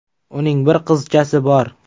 Uning bir qizchasi bor.